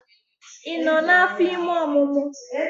Ị nọ n'afọ ime omumu?